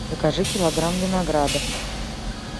закажи килограмм винограда